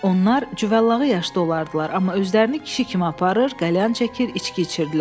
Onlar cüvallağı yaşda olardılar, amma özlərini kişi kimi aparır, qəlyan çəkir, içki içirdilər.